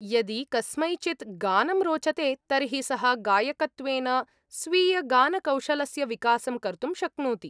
यदि कस्मैचित् गानं रोचते तर्हि सः गायकत्वेन स्वीयगानकौशलस्य विकासं कर्तुं शक्नोति।